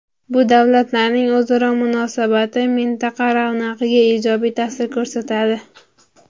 Bu davlatlarning o‘zaro munosabati mintaqa ravnaqiga ijobiy ta’sir ko‘rsatadi.